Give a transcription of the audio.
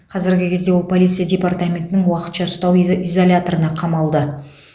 қазіргі кезде ол полиция департаментінің уақытша ұстау из изоляторына қамалды